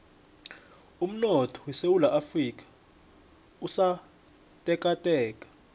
umnotho wesewula afrika usotekateka